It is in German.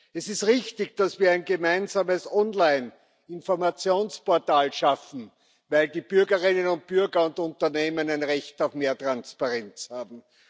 Es ist richtig, dass wir ein gemeinsames Online Informationsportal schaffen, weil die Bürgerinnen und Bürger und Unternehmen ein Recht auf mehr Transparenz haben.